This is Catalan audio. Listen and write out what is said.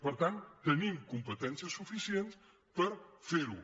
per tant tenim competències suficients per fer ho